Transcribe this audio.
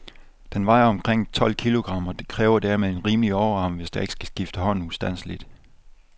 Den vejer omkring tolv kilogram, og kræver dermed en rimelig overarm, hvis der ikke skal skifte hånd ustandseligt.